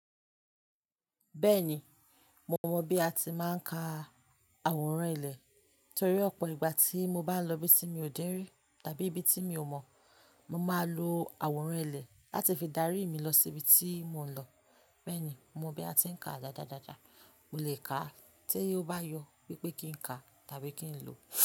Bẹ́ẹ̀ni, mo mọ bí a ti máa ń ka àwòrán ilẹ̀ torí ọ̀pọ̀ ìgbà tí mo bá lọ ibi tí mi ò dẹ́rí tàbí ibi tí mi ò mọ̀, mo máa lo àwòrán ilẹ̀ láti fi darí mi lọ sí ibi tí mò ń lọ. Bẹ́ẹ̀ni, mo mọ bí a ti ń kàá dáadáa dáadáa. Mo lè kà á tí ó bá yọ wípé kí n kà á tàbí kí n lò ó.